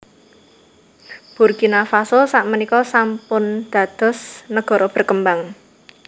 Burkina Faso sak menika sampun dados negara berkembang